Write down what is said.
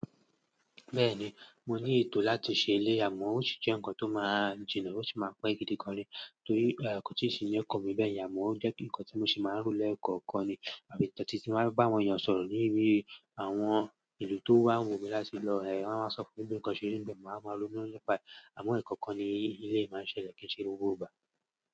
Bẹ́ẹ̀ni, mo ní ètò láti ṣe ilé, amon ó sì jẹ́ ǹkan tó máa jìnà, ó sì máa pẹ́ gidigan ni. Torí kò tíì sí ń ọkọ́n mi bẹ́ yẹ̀n, amon o jẹ́ ǹkan tí mo sì máa ń rò lẹ́ẹ̀kọ̀ọ̀kan ni, àfi tòótí tí mo bá ń bá àwọn èèyàn sọ̀rọ̀ níbi àwọn ìlú tó wà wò mí láti lọ, ẹ wọn a wáa sọ pé bi nǹkan ṣe ri n bẹ màá wá ma nipa e, amon ẹkọkan ni éley máa ń ṣẹlẹ̀ kí n ṣe gbogbo ìgbà.